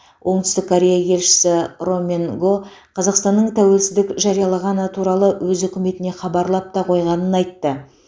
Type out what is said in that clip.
оңтүстік корея елшісі ро мен го қазақстанның тәуелсіздік жариялағаны туралы өз үкіметіне хабарлап та қойғанын айтты